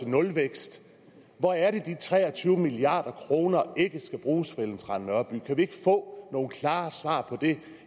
nulvækst hvor er det de tre og tyve milliard kroner ikke skal bruges ellen trane nørby kan vi ikke få nogle klare svar på det